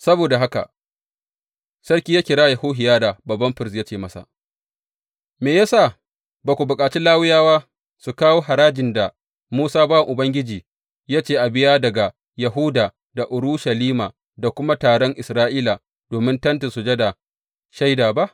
Saboda haka sarki ya kira Yehohiyada babban firist ya ce masa, Me ya sa ba ka bukaci Lawiyawa su kawo harajin da Musa bawan Ubangiji ya ce a biya daga Yahuda da Urushalima da kuma taron Isra’ila domin Tentin Sujada Shaida ba?